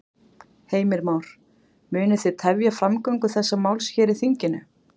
Heimir Már: Munu þið tefja framgöngu þessa máls hér í þinginu?